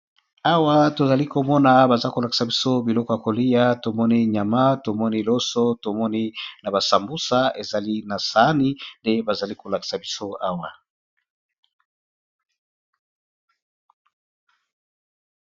Awa tozali komona baza kolakisa biso biloko ya kolia tomoni nyama tomoni loso tomoni na basambusa ezali na saani nde bazali kolakisa biso awa.